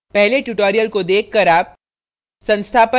पहले tutorial को देखकर आप